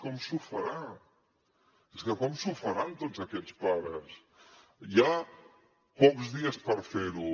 com s’ho faran és que com s’ho faran tots aquests pares hi ha pocs dies per fer ho